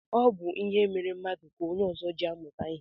Ọ bụ ihe mere mmadụ ka onye ọzọ ji amụta ihe.